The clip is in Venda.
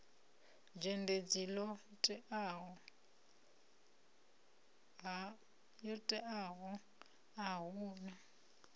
dzhendedzi ḽo teaho a huna